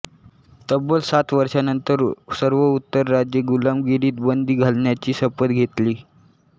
तब्बल सात वर्षांनंतर सर्व उत्तर राज्ये गुलामगिरीत बंदी घालण्याची शपथ घेतली